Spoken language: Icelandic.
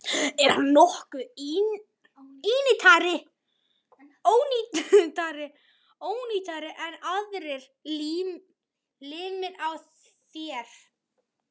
Er hann nokkuð ónýtari en aðrir limir á þér?